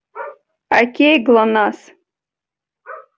окей глонассс